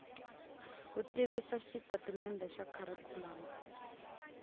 ku tivisa xitatimendhe xa kharikhulamu